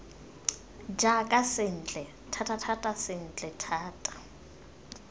jaaka sentle thatathata sentle thata